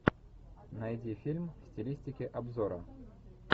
найди фильм в стилистике обзора